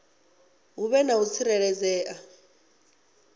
hu vhe na u tsireledzea